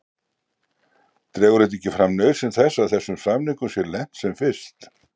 Dregur þetta ekki fram nauðsyn þess að þessum samningum sé lent sem fyrst?